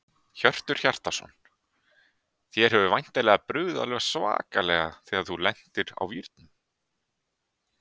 Hjörtur Hjartarson: Þér hefur væntanlega brugðið alveg svakalega þegar þú lendir á vírnum?